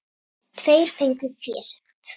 Tveir fengu fésekt.